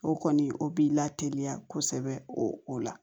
O kɔni o b'i la teliya kosɛbɛ o o la